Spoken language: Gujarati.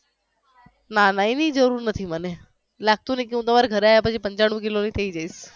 ના ના અવે જરૂર નથી મને લાગતુ નથી કે હુ તમારે ઘરે આવ્યા પછી પંચાણુ કિલોની થઈ જઈશ